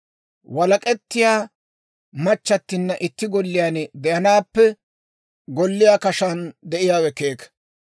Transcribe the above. Walak'ettiyaa machchattinna itti golliyaan de'anaappe golliyaa kashaan de'iyaawe keeka.